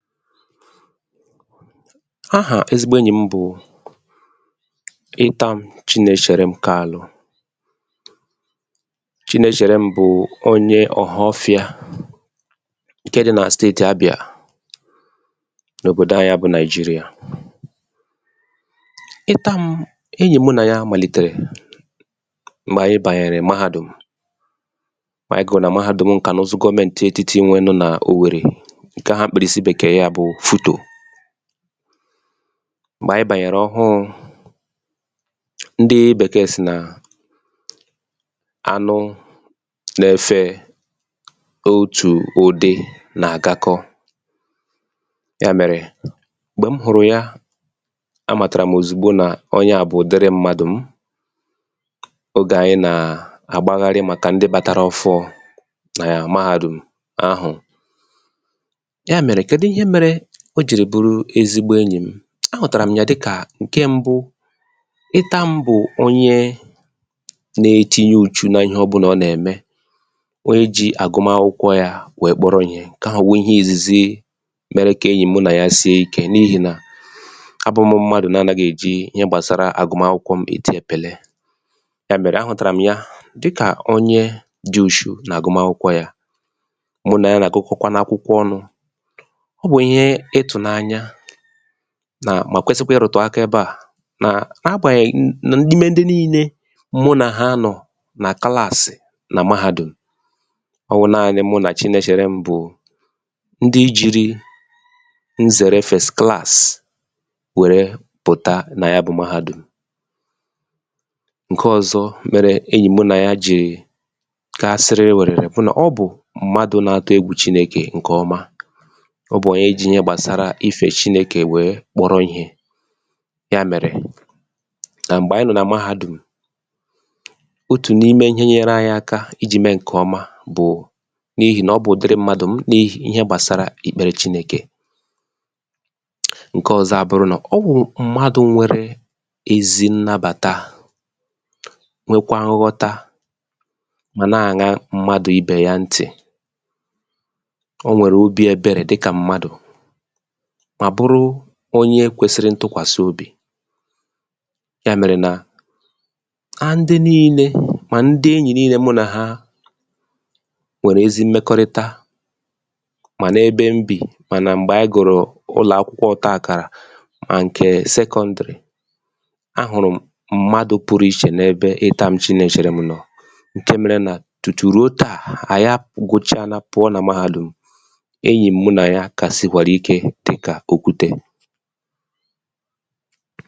file 109 ahà ezigbo enyì m bụ̀ ịtām Chịnẹchẹ̀rẹm Kalụ̄ Chịnẹchẹ̀rẹm bụ̀ onye Ọ̀họfịā ǹkẹ dị nà steètì Abịà n’òbòdo anyị bụ Naị̀jịrịà ịtām enyì mụ nà ya màlìtèrè m̀gbè ànyị bànyẹ̀rẹ̀ Mahadùm m̀gbè ànyị gụ̀ nà Mahādum ǹkà n’ụzụ gọmẹntị ètiti nwẹnụ nà Òwèrè ǹkẹ̀ ahụ̀ akpị̀rịsị Bẹ̀kẹ̀ẹ ya bụ Futò m̀gbè anyị bànyẹ̀rẹ̀ ọhụụ̄ ndị Bèkẹ̀ẹ̀ sị̀ nà anụ nā ẹfẹ otù udị na agakọ ya mẹ̀rẹ̀ m̀gbẹ̀ m hụ̀rụ̀ ya a màtàrà m òzìgbò nà onye à bụ̀ ụ̀dịrị mmadụ̀ m ogè ànyị nà àgbagharị màkà ndị bata ọfụụ̄ nà Mahādum ahụ̀ yà mèrè kẹdụ ihẹ mẹrẹ o jìrì bụrụ ezigbo enyị̀ m ahụ̀tàrà m ya dịkà ǹkẹ mbụ ịtām bụ̀ onye na etinye ùchu na ịhẹ ọbụnà ọ nà ẹ̀mẹ onye ji àgụma akwụkwọ ya wẹ̀ẹ kpọrọ ihẹ̄ ǹkẹ ahụ̀ wụ̀ ihẹ ìzìzi mẹrẹ kà enyì mụ nà ya sie ikē n’ịhị̀ nà a bụ̄m mmadù na anaghị èji ihe gbàsara àgụma akwụkwọ m èti ẹ̀pẹ̀lẹ yà mẹ̀rẹ̀ ahụ̀tàrà m ya dịkà onye dị ùchù nà àgụma akwụkwọ yā mụ nà ya nà àgụkọkwanụ akwụkwọ ọnụ̄ ọ bụ̀ ihe ịtụ̀nanya nà mà kwesikwa ịrụ̀tụ̀ aka ebe à nà agbànyèghi nà ime ndị nille mụ nà ha nọ̀ nà Kụlaàsị̀ nà Mahādùm ọ wụ̀ naanị mụ nà Chịnẹchẹ̀rẹm bụ̀ ndị jiri nzẹ̀rẹ fẹ̀st Klàsị̀ wẹ̀rẹ pụ̀ta nà ya bụ Mahādùm ǹkẹ ọzọ mẹrẹ enyì mụ nà ya jì ga sịrịwẹ̀rẹ̀rẹ̀ bụ nà ọ bụ̀ mmadu na atụ egwù chinekè ǹkẹ ọma ọ bụ̀ onye ji ihe gbàsara ifẹ chinēkè wère kpọrọ ihē yà mẹ̀rẹ̀ nà m̀gbẹ anyị nọ̀ nà Mahādùm otù n’ime ihe nyere anyị aka ijī mẹ ǹkẹ̀ ọma bụ̀ n’ihì nà ọ bụ̀ ùdiri mmadù m n’ihe gbàsara ịkpẹrẹ Chinēkè ǹkẹ ọzọ à wụrụ nà ọ bụ̀ mmadū nwẹ̀rẹ ezi nnabàta nwekwa nghọta mà nà àña mmadù ibè ya ntì ọ nwẹ̀rẹ̀ obī ẹbẹrẹ̀ dịkà mmadù mà bụrụ onye kwesi ntukwàsi obì yà mèrè nà ndị nille mà ndị enyì mụ nà ha nwẹ̀rẹ̀ ezi mmẹkọrịta mà na ebe m bì mà nà m̀gbẹ anyị gụrụ ụlọ̀akwụkwọ ọta àkàrà mà ǹkẹ̀ Sẹkọ̄ndrị̀ ahụ̀rụ̀ m̀ mmadu pụrụ ichè n’ebe Ịtām Chịnẹchẹ̀rẹm nọ̀ ǹke mere nà tùtù ruo tà ànyị agụcha pụ̀ọ nà Mahādùm enyì mụ nà ya kà sìkwàrà ike dịkà òkwutē